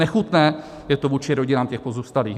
Nechutné je to vůči rodinám těch pozůstalých.